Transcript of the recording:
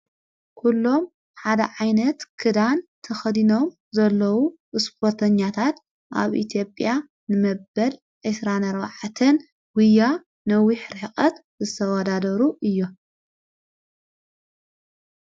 ኲሎም ሓደ ዓይነት ክዳን ተኸዲኖም ዘለዉ ብስጶተኛታት ኣብ ኢቲብያ ንመበል ኤሥራነ ኣረዋዐትን ዊያ ነዊኅ ርህቐት ዘተወዳደሩ እዮ።